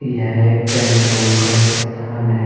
यह एक tent room का एक स्थान है।